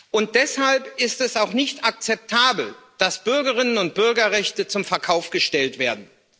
Und deshalb ist es auch nicht akzeptabel, dass Bürgerinnen und Bürgerrechte zum Verkauf gestellt werden.